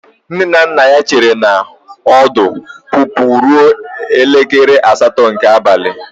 Nne na nna ya chere na ọdụ ọpụpụ ruo elekere asatọ nke abalị.